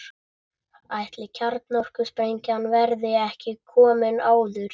Ætli kjarnorkusprengjan verði ekki komin áður.